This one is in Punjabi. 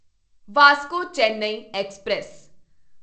ਵਾਸਕੋ ਚੇਨੱਈ ਐਕਸਪ੍ਰੈਸ